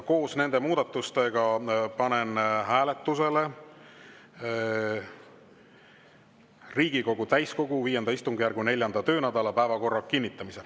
Koos nende muudatustega panen hääletusele Riigikogu täiskogu V istungjärgu 4. töönädala päevakorra kinnitamise.